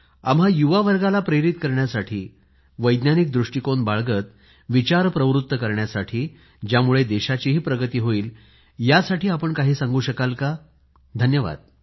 आम्हा युवा वर्गाला प्रेरित करण्यासाठी आमच्या विचारांना वैज्ञानिक दृष्टीकोन बाळगत विचारांना प्रवृत्त करण्यासाठी ज्यामुळे देशाचीही प्रगती होईल यासाठी आपण काही सांगू शकाल का धन्यवाद